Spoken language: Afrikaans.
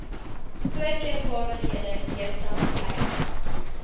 voorkeurvaardighede jipsa vereis